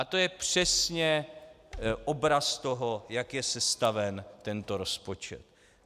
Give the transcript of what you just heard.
A to je přesně obraz toho, jak je sestaven tento rozpočet.